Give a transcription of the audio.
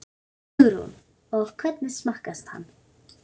Hugrún: Og hvernig smakkast hann?